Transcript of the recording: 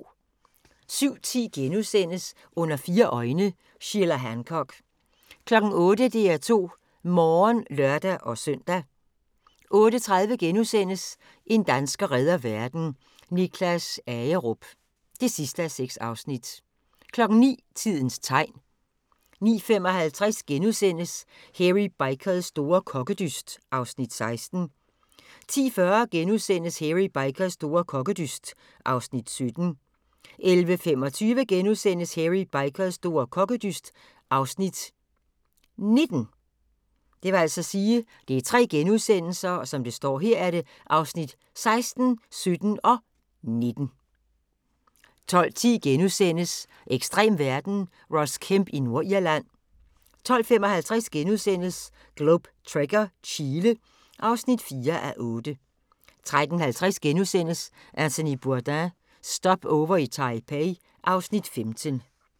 07:10: Under fire øjne – Sheila Hancock * 08:00: DR2 Morgen (lør-søn) 08:30: En dansker redder verden - Niklas Agerup (6:6)* 09:00: Tidens tegn 09:55: Hairy Bikers store kokkedyst (Afs. 16)* 10:40: Hairy Bikers store kokkedyst (Afs. 17)* 11:25: Hairy Bikers store kokkedyst (Afs. 19)* 12:10: Ekstrem verden – Ross Kemp i Nordirland * 12:55: Globe Trekker - Chile (4:8)* 13:50: Anthony Bourdain – Stopover i Taipei (Afs. 15)*